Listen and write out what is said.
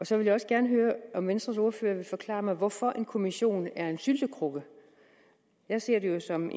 så vil jeg også gerne høre om venstres ordfører vil forklare mig hvorfor en kommission er en syltekrukke jeg ser den jo som